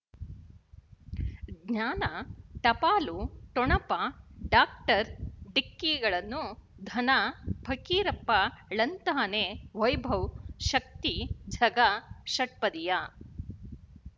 ಜ್ಞಾನ ಟಪಾಲು ಠೊಣಪ ಡಾಕ್ಟರ್ ಢಿಕ್ಕಿ ಗಳನ್ನು ಧನ ಫಕೀರಪ್ಪ ಳಂತಾನೆ ವೈಭವ್ ಶಕ್ತಿ ಝಗಾ ಷಟ್ಪದಿಯ